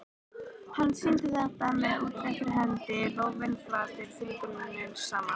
Hann sýndi þetta með útréttri hendi, lófinn flatur, fingurnir saman.